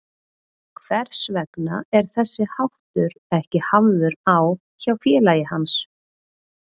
Hvers vegna er þessi háttur ekki hafður á hjá félagi hans?